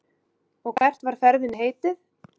Og hvert er ferðinni heitið?